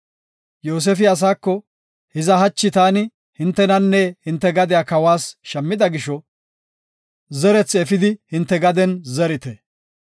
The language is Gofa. Yoosefi asaako, “Hiza hachi taani hintenanne hinte gadiya kawas shammida gisho, zerethi efidi hinte gaden zerite.